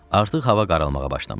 Artıq hava qaralmağa başlamışdı.